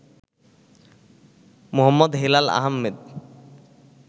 Md. Helal Ahmed